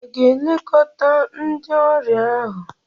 Hà a ga-elekọta ndị ọrịa ahụ?